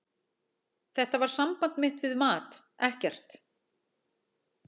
Þetta var samband mitt við mat, ekkert.